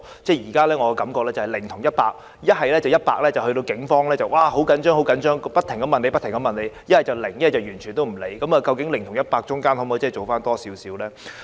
我現時的感覺是"零"及"一百"，一則警方十分着緊，不停向受害人查問，一則完全不理會，究竟"零"與"一百"之間可否多做一點呢？